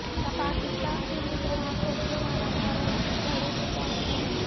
پاکستان کےلئے گڑھا کھودنے والا بھارت خود گڑھے میں جا گرا